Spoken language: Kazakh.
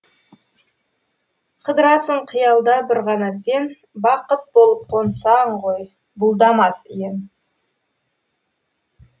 қыдырасың қиялда бір ғана сен бақыт болып қонсаң ғой бұлдамас ем